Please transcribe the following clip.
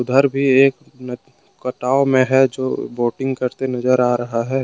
घर भी एक कटाव में है जो बोटिंग करते नजर आ रहा है।